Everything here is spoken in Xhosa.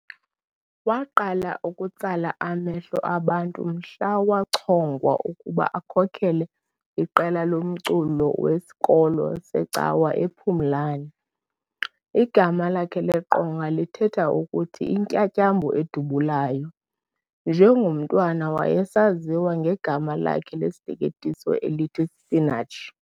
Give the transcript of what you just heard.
Waqala ukutsala amehlo abantu mhla wachongwa ukuba akhokhele iqela lomculo wesikolo secawa ePhumlani. Igama lakhe leqonga lithetha ukuthi "Intyantyambo edubulayo", njengomntwana wayesaziwa ngegama lakhe lesiteketiso elithi "Spinach".